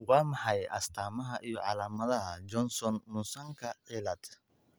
Waa maxay astamaha iyo calaamadaha Johnson Munsonka cilaad?